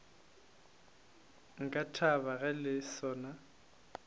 nka thaba ge le sona